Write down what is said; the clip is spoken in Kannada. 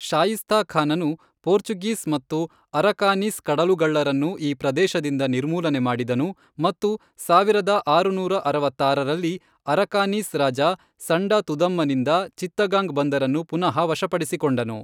ಶಾಯಿಸ್ತಾ ಖಾನನು ಪೋರ್ಚುಗೀಸ್ ಮತ್ತು ಅರಕಾನೀಸ್ ಕಡಲುಗಳ್ಳರನ್ನು ಈ ಪ್ರದೇಶದಿಂದ ನಿರ್ಮೂಲನೆ ಮಾಡಿದನು ಮತ್ತು ಸಾವಿರದ ಆರುನೂರ ಅರವತ್ತಾರರಲ್ಲಿ, ಅರಕಾನೀಸ್ ರಾಜ ಸಂಡಾ ತುದಮ್ಮನಿಂದ ಚಿತ್ತಗಾಂಗ್ ಬಂದರನ್ನು ಪುನಃ ವಶಪಡಿಸಿಕೊಂಡನು.